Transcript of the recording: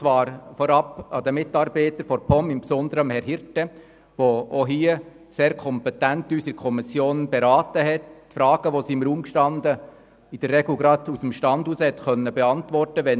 Ich danke vorab den Mitarbeitern der POM, insbesondere Herrn Hirte, der uns auch bei diesem Geschäft in der Kommission sehr kompetent beraten hat und Fragen, die im Raum standen, in der Regel aus dem Stand heraus beantworten konnte.